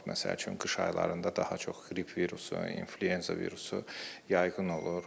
Məsəl üçün qış aylarında daha çox qrip virusu, inflyuenza virusu yayğın olur.